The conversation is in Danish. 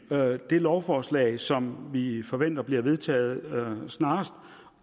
at det lovforslag som vi forventer bliver vedtaget snarest